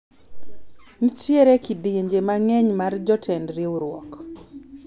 nitiere kidienje mang'eny mar jotend riwruok